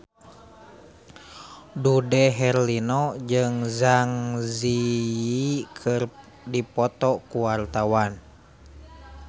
Dude Herlino jeung Zang Zi Yi keur dipoto ku wartawan